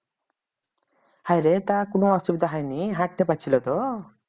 হায়রে তখন অসুবিধা হয়নি? হাঁটতে পারছিল তো